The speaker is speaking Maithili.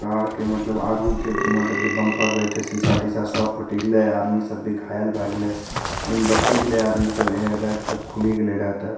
कार के मतलब आगू के मतलब जे बम्पर रहे छे सीसा-तीसा सब फूटी गेल आदमी सब भी घायल भाय गेले लेकिन बची गेले आदमी सब एयर बैग सब खुली गेले रहे ते।